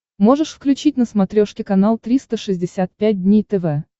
можешь включить на смотрешке канал триста шестьдесят пять дней тв